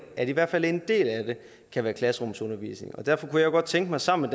at i hvert fald en del af det kan være klasserumsundervisning derfor kunne jeg godt tænke mig sammen